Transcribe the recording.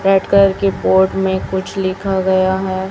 कर के बोर्ड में कुछ लिखा गया है।